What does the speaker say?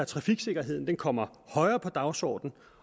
trafiksikkerheden kommer højere på dagsordenen